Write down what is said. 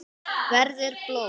Verður blóð.